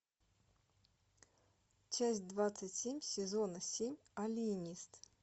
часть двадцать семь сезона семь алиенист